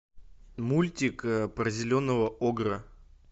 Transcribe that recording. мультик про зеленого огра